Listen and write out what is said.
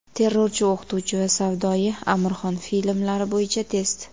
Terrorchi, o‘qituvchi va savdoyi... Amirxon filmlari bo‘yicha test.